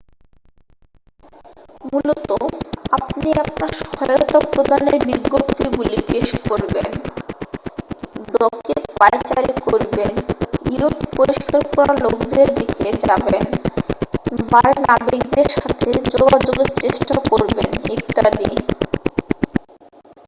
মূলত আপনি আপনার সহায়তা প্রদানের বিজ্ঞপ্তিগুলি পেশ করবেন ডকে পায়চারী করবেন ইয়ট পরিষ্কার করা লোকদের দিকে যাবেন বারে নাবিকদের সাথে যোগাযোগের চেষ্টা করবেন ইত্যাদি